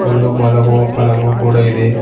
ಒಂದು ಮಲಗುವ ಪಲಂಗು ಕೂಡ ಇದೆ.